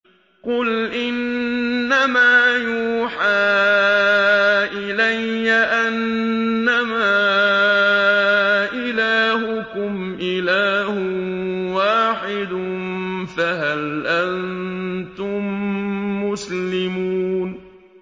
قُلْ إِنَّمَا يُوحَىٰ إِلَيَّ أَنَّمَا إِلَٰهُكُمْ إِلَٰهٌ وَاحِدٌ ۖ فَهَلْ أَنتُم مُّسْلِمُونَ